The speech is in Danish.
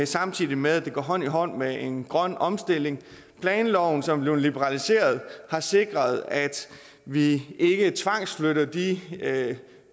samtidig med at det går hånd i hånd med en grøn omstilling og planloven som blev liberaliseret har sikret at vi ikke tvangsflytter de